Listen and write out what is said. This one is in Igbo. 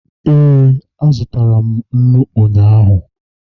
ee, azụrụ m nnu ụnyahụ